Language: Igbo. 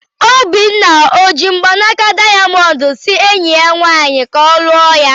Obinna ọ ji mgbanaka dayamondu si enyi ya nwanyị ka ọ lụọ ya?